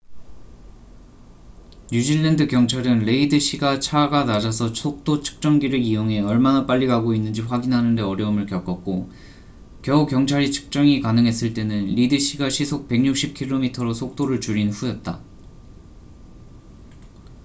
뉴질랜드 경찰은 레이드 씨가 차가 낮아서 속도 측정기를 이용해 얼마나 빨리 가고 있는지 확인하는 데 어려움을 겪었고 겨우 경찰이 측정이 가능했을 때는 리드 씨가 시속 160km로 속도를 줄인 후였다